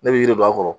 Ne bɛ yiri don a kɔrɔ